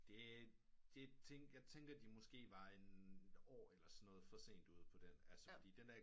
Det er det tænkte jeg de måske var et år eller sådan noget for sent ude på den